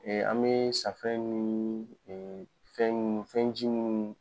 an bɛ safɛ min fɛn fɛnji mun